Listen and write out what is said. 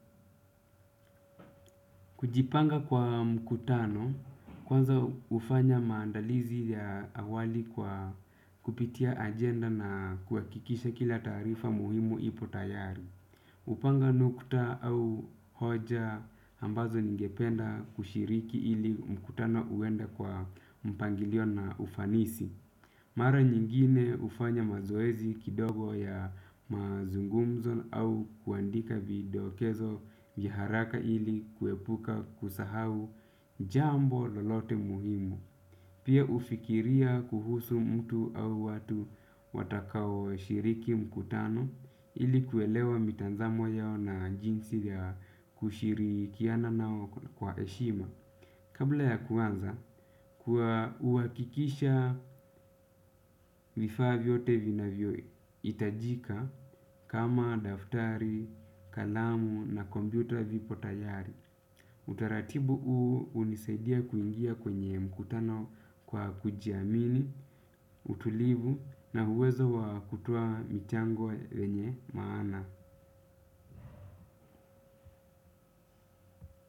Kujipanga kwa mkutano kwanza hufanya maandalizi ya awali kwa kupitia ajenda na kuhakikisha kila taarifa muhimu ipo tayari. Hupanga nukta au hoja ambazo ningependa kushiriki ili mkutano uende kwa mpangilio na ufanisi. Mara nyingine hufanya mazoezi kidogo ya mazungumzo au kuandika vidokezo vya haraka ili kuepuka kusahau jambo lolote muhimu. Pia hufikiria kuhusu mtu au watu watakaoshiriki mkutano ili kuelewa mitazamo yao na jinsi ya kushirikiana nao kwa heshima. Kabla ya kuanza, huhakikisha vifaa vyote vinavyo hitajika kama daftari, kalamu na kompyuta vipo tayari. Utaratibu huu hunisaidia kuingia kwenye mkutano kwa kujiamini, utulivu na uwezo wa kutoa michango yenye maana.